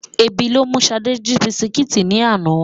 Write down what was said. Ebi ló mú Ṣadé jí bisikíìtì ní àná.